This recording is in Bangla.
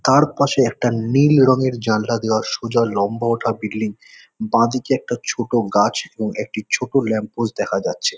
তার পাশে একটা নীল রঙের জালনা দেওয়া সোজা লম্বা ওঠা বিল্ডিং বাঁদিকে একটা ছোট গাছ এবং একটি ছোট ল্যাম্প পোস্ট দেখা যাচ্ছে।